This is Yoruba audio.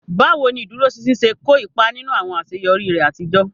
Báwo ni ìdúróṣinṣin ṣe kó ipa nínú àwọn àṣeyọrí rẹ àtijọ́?